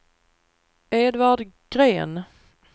Edvard Gren